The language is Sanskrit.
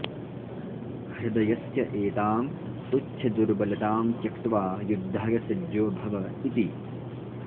हृदयस्य एतां तुच्छदुर्बलतां त्यक्त्वा युद्धाय सज्जो भव इति